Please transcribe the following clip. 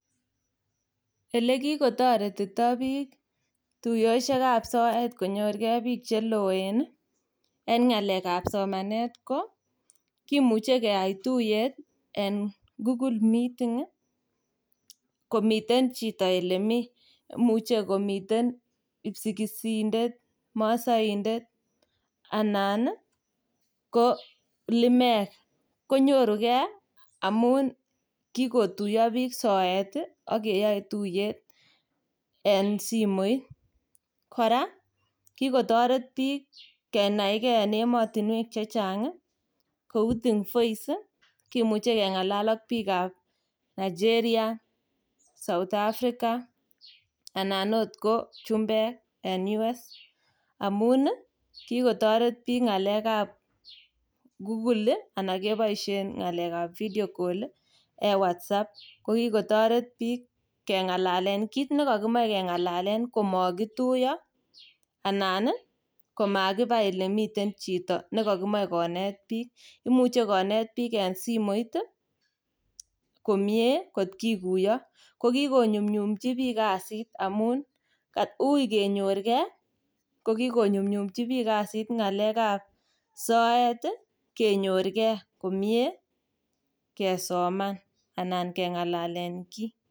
elekigotoretito biik tuyosyeek ab soet konyorgee biik che loeen iih en ngaleek ab somaneet ko kimuche keyaai tuyeet en google meeting iih komiten chiton elemii, imuche komiten ipsigisindet, masoindet anan limeek konyorugee amuun kigotuyo biik soet iih ak keyoe tuyeet en simoit, kora kigotoret biik kenai gee en emotinweek chechang kouu think voice iih kimuche kengalaal ak biik ab Nigeria, South Africa anan ooh ko chumbeek en united states amuun iih kigotoret biik ngaleek ab google iih anan keboishen ngaleek ab video call iih en whatsapp, kokigotoret biik kengalalen kiit negokimoe kengalalen komokituyo anan iih komagiba elemiten chito negokimoe koneet biik, imuche koneet biik komyee kot kiguyo, ko kigonyumnyumchi biik kasit amuun uui kenyoor gee ko kigonyumnyumchi biik kasiit ngaleek ab soeet iih kenyoor gee komyee kesoman anan kengalalen kiit.